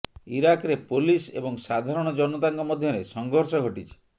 ଇରାକରେ police ଏବଂ ସାଧାରଣ ଜନତାଙ୍କ ମଧ୍ୟରେ ସଙ୍ଘର୍ଷ ଘଟିଛି